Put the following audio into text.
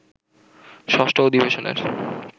ষষ্ঠ অধিবেশনের